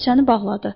Dəftərçəni bağladı.